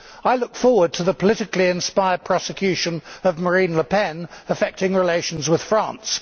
I look forward to the politically inspired prosecution of Marine Le Pen affecting relations with France.